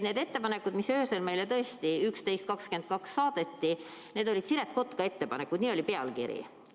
Need ettepanekud, mis meile öösel kell 23.22 saadeti, olid Siret Kotka ettepanekud, nii oli pealkiri.